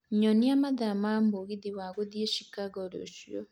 nyonia mathaa ma mũgithi wa gũthiĩ Chicago rũcio